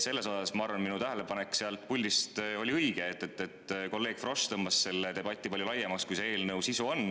Ma arvan, et minu tähelepanek oli õige, et kolleeg Frosch tõmbas selle debati palju laiemaks, kui on selle eelnõu sisu.